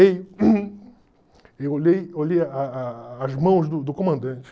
eu olhei olhei a a a as mãos do do comandante.